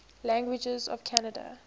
languages of canada